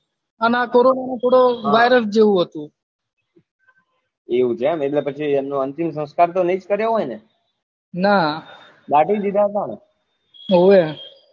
અને આ કોરોના નો થોડો virus જેવું હતું એવું છે એમ એટલે એમનો અંતિમ સંસ્કાર તો ની જ કર્યો હોય ને દાટી જ દીધા હતા ને ઓવે